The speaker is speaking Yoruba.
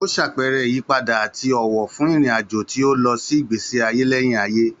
Ó ṣàpẹẹrẹ ìyípadà àti ọ̀wọ̀ fún ìrìn-àjò tí ó lọ sí ìgbésí ayé lẹ́yìn ayé.